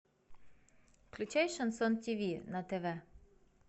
включай шансон ти ви на тв